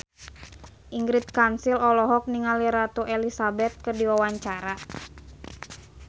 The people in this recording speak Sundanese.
Ingrid Kansil olohok ningali Ratu Elizabeth keur diwawancara